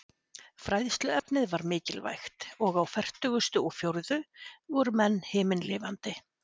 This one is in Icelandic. Fræðsluefnið var mikilvægt, og á fertugustu og fjórðu voru menn himinlifandi.